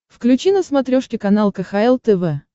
включи на смотрешке канал кхл тв